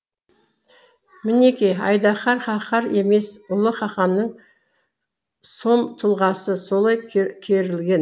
мінеки айдаһар қаһар емес ұлы қаһанның сом тұлғасы солай керілген